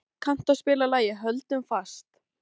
Gía, kanntu að spila lagið „Höldum fast“?